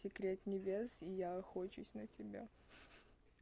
секрет небес и я охочусь на тебя